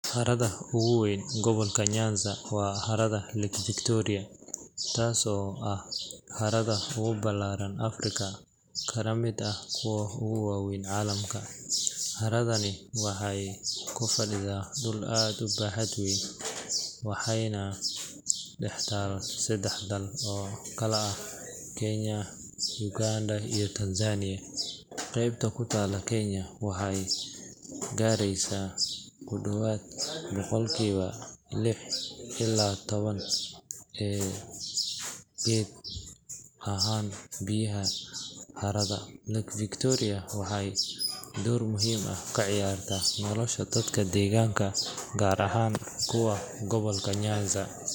Harada ugu weyn gobolka Nyanza waa harada Lake Victoria, taasoo ah harada ugu ballaaran Afrika kana mid ah kuwa ugu waaweyn caalamka. Haradani waxay ku fadhidaa dhul aad u baaxad weyn waxayna dhex taal saddex dal oo kala ah Kenya, Uganda iyo Tanzania. Qaybta ku taalla Kenya waxay gaaraysaa ku dhowaad boqolkiiba lix iyo toban ee guud ahaan biyaha harada. Lake Victoria waxay door muhiim ah ka ciyaartaa nolosha dadka deegaanka gaar ahaan kuwa gobolka Nyanza.